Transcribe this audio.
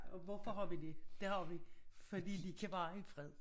Og hvorfor har vi dét det har vi fordi de kan være i fred